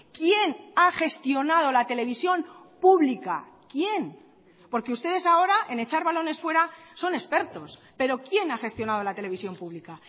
quién ha gestionado la televisión pública quién porque ustedes ahora en echar balones fuera son expertos pero quién ha gestionado la televisión pública